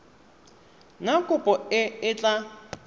na kopo e e tla